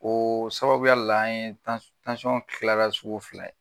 O sababuya de la an ɲe kilala sugu filɛ ye